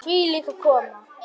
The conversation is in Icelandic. Hvílík aðkoma!